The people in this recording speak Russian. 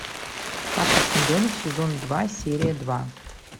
карточный домик сезон два серия два